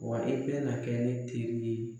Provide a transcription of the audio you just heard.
Wa e bɛna kɛ ne teri ye.